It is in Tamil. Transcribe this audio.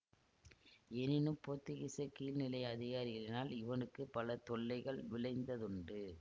எனினும் போத்துக்கீசக் கீழ் நிலை அதிகாரிகளினால் இவனுக்கு பல தொல்லைகள் விளைந்ததுண்டு